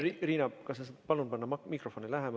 Riina, kas sa saad panna mikrofone lähemale?